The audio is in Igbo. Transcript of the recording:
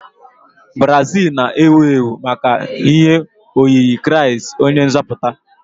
Brazil na-ewu ewu maka ihe oyiyi kraist onye nzoputa.